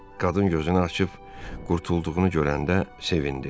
Qadın gözünü açıb qurtulduğunu görəndə sevindi.